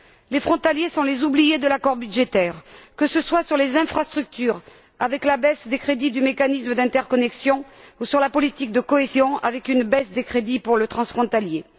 Les frontaliers sont les oubliés de l'accord budgétaire, que ce soit sur le plan des infrastructures, avec la baisse des crédits du mécanisme d'interconnexion ou sur celui de la politique de cohésion, avec une baisse des crédits pour le transfrontalier.